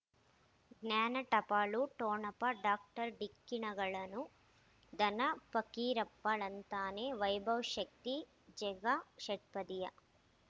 ಜ್ಞಾನ ಟಪಾಲು ಠೊಣಪ ಡಾಕ್ಟರ್ ಢಿಕ್ಕಿ ಣಗಳನು ಧನ ಫಕೀರಪ್ಪ ಳಂತಾನೆ ವೈಭವ್ ಶಕ್ತಿ ಝಗಾ ಷಟ್ಪದಿಯ